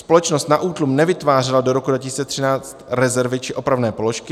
Společnost na útlum nevytvářela do roku 2013 rezervy či opravné položky.